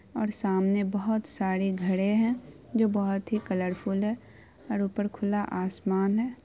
और सामने बहोत सारे घर है जो बहोत ही कलरफूल है और ऊपर खुला आसमान है।